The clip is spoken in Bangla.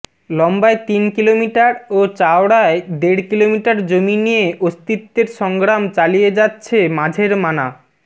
লম্বায় তিন কিলোমিটার ও চওড়ায় দেড় কিলোমিটার জমি নিয়ে অস্তিত্বেরসংগ্রাম চালিয়ে যাচ্ছে মাঝের মানা